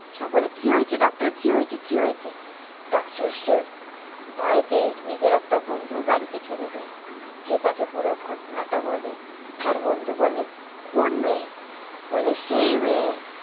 সকলে কি হয়েছে ডক্টর? কি হয়েছে কি হয়েছে? ডক্টর শিব ভয় পেয়ে নিজের একটা বন্ধুর বাড়িতে চলে যায়। যেয়ে তাকে পুরো ঘটনাটা বলে। তার বন্ধু বলে, কোন মেয়ে? বলে, সেই মেয়ে।